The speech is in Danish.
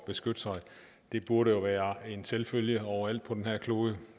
beskytte sig det burde jo være en selvfølge overalt på den her klode